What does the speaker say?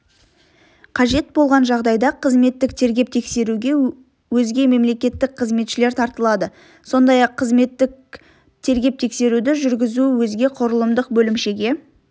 қажет болған жағдайда қызметтік тергеп-тексеруге өзге мемлекеттік қызметшілер тартылады сондай-ақ қызметтік тергеп-тексеруді жүргізу өзге құрылымдық бөлімшеге